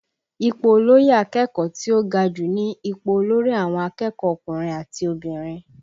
Ipò olóyè akẹ́kọ̀ọ́ tí ó ga jù ní ipò olórí àwọn akẹ́kọ̀ọ́ ọkùnrin àti obìnrin